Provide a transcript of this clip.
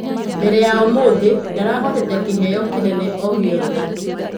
Mbere ya ũmũthĩ ndarahotete kĩheyo kĩnene o-gĩothe.